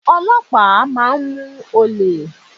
Ọlọ́pàá máa ń mú olè.